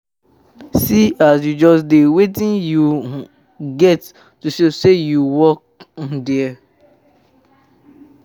See as you just dey, wetin you um get to show say you work um there